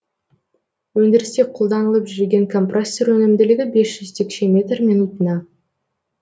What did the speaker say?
өндірісте қолданылып жүрген компрессор өнімділігі м мин